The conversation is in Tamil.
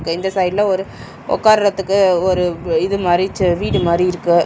ரெண்டு சைடுல ஒரு உக்காரதுக்கு ஒரு இது மாரி ச வீடு மாரி இருக்கு.